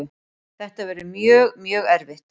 Þetta verður mjög, mjög erfitt.